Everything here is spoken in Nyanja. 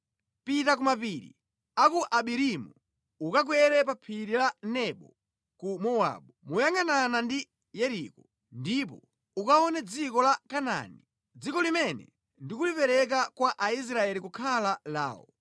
“Pita ku mapiri a ku Abarimu ukakwere pa Phiri la Nebo ku Mowabu, moyangʼanana ndi Yeriko, ndipo ukaone dziko la Kanaani, dziko limene ndikulipereka kwa Aisraeli kukhala lawo.